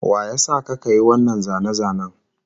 Wa ya sa ka ka yi wannan zane-zanen?